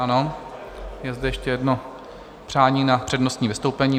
Ano, je zde ještě jedno přání na přednostní vystoupení.